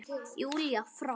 Júlíu frá.